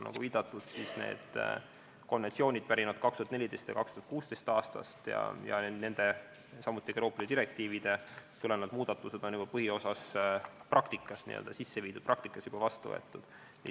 Nagu viidatud, need konventsioonid pärinevad 2014. ja 2016. aastast ning Euroopa Liidu direktiividest tulenevad muudatused on samuti juba põhiosas praktikas vastu võetud.